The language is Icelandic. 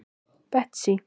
Betsý